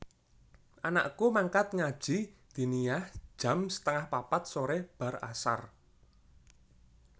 Anakku mangkat ngaji diniyah jam setengah papat sore bar asar